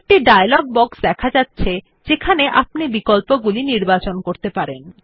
একটি dialogue box দেখা যাচ্ছে যেখানে আপনি বিকল্পগুলি নির্বাচন করতে পারেন